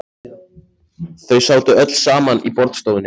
Þau sátu öll saman í borðstofunni.